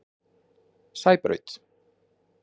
Sæbraut